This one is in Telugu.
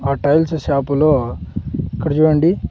హోటల్స్ షాపు లో ఇక్కడ చూడండి.